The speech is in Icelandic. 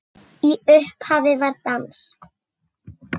Í upphafi var dans.